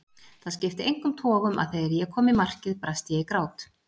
Það skipti engum togum að þegar ég kom í markið brast ég í grát.